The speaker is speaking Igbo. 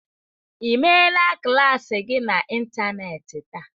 Ị meela klas gị n'ịntanetị taa?